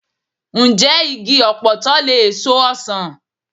Ǹjẹ́ igi ọ̀pọ̀tọ́ lè so ọsàn?